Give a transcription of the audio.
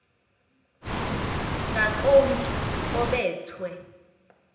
ngakomntu obe thwe